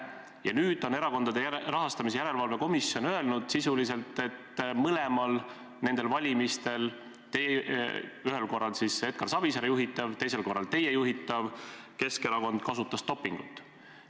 Ja nüüd on Erakondade Rahastamise Järelevalve Komisjon sisuliselt öelnud, et mõlemal valimisel – ühel korral siis Edgar Savisaare juhitav, teisel korral teie juhitav – Keskerakond kasutas dopingut.